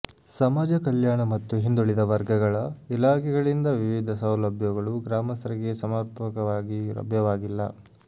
ಸಮಾಜ ಕಲ್ಯಾಣ ಮತ್ತು ಹಿಂದುಳಿದ ವರ್ಗಗಳ ಇಲಾಖೆಗಳಿಂದ ವಿವಿಧ ಸೌಲಭ್ಯಗಳು ಗ್ರಾಮಸ್ಥರಿಗೆ ಸಮರ್ಪಕವಾಗಿ ಲಭ್ಯವಾಗಿಲ್ಲ